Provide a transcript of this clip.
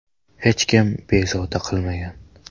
Hech kim bezovta qilmagan.